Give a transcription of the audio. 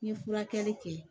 N ye furakɛli kɛ